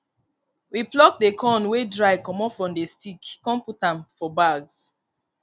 we pluck the corn wey dry comot for the stick con put am for bags